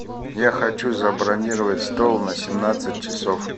я хочу забронировать стол на семнадцать часов